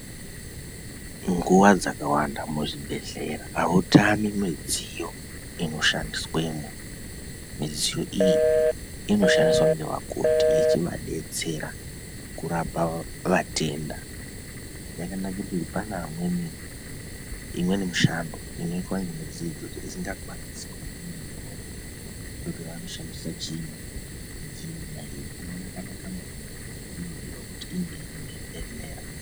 Nguwa dzakawanda muzvibhehlera hautami midziyo inoshandiswamo midziyo iyi inoshandiswa nevakoti ichivadetsera kurapa vatenda yakanakira kuti pane vamweni mushando inoitwa nemidziyo idzodzo isingaitwi kuti vanoshandisa chiinyi midziyo iyoyo inofanira kunge iri muchibhehlera inodetsera.